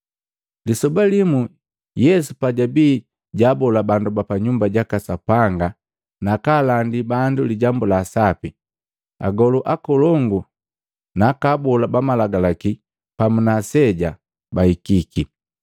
Lisoba limu, Yesu pajabi jaabola bandu pa nyumba jaka Sapanga nakaalandi bandu Lijambu laa Sapi, agolu akolongu naaka abola ba malagalaki pamu na aseja bahikiki,